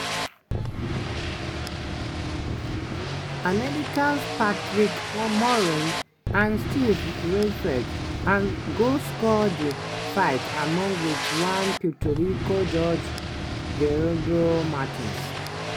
americans patrick morley and steve weisfeld go score di fight along wit one puerto rico judge gerardo martinez.